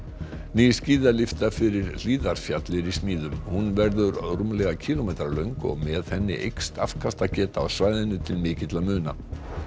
ný skíðalyfta fyrir Hlíðarfjall er í smíðum hún verður rúmlega kílómetra löng og með henni eykst afkastageta á svæðinu til mikilla muna